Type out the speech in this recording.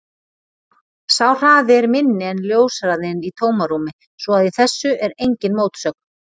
Sá hraði er minni en ljóshraðinn í tómarúmi svo að í þessu er engin mótsögn.